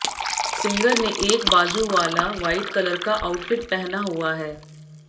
singer ने एक बाजू वाला व्हाइट कलर का आउटफिट पहना हुआ है